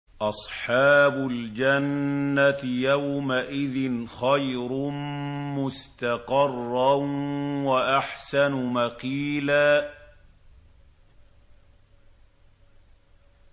أَصْحَابُ الْجَنَّةِ يَوْمَئِذٍ خَيْرٌ مُّسْتَقَرًّا وَأَحْسَنُ مَقِيلًا